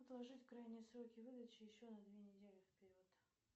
отложить крайние сроки выдачи еще на две недели вперед